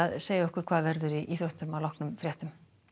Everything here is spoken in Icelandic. segja okkur hvað verður í íþróttum að loknum fréttum